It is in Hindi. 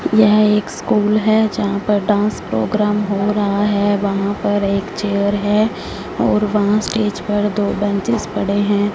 यह एक स्कूल है जहां पर डांस प्रोग्राम हो रहा है वहां पर एक चेयर है और वहां स्टेज पर दो बेंचेज पड़े हैं।